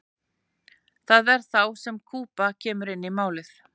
það er þá sem kúba kemur inn í málið